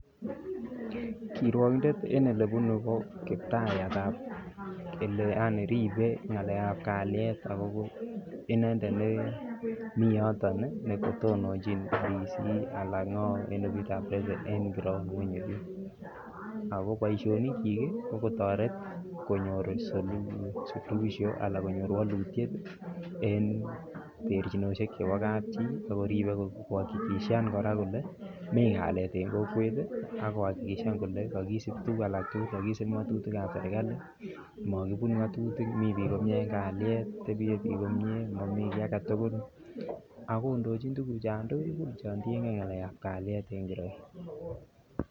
Kiruogindet en Ole bunu ko kiptayat ab kokwet ribe ngalek ab kalyet ago inendet ne nemi yoton anan ne tononjin bik Anan ofisitab president en kiraon ngwony oli ago boisionikyik ko kotoret konyor solution anan konyor walutiet en terchinosiek chebo kapchi ak korib ak koakikishan kole mi kalyet en kokwet ak koakikishan kole tuguk alak tugul ko kisib ngatutik ab serkali mi bik komie en kalyet mi bik komie Mami ki age tugul ak kondochin tuguchon tugul chon tienge ngalekab kalyet en kiraon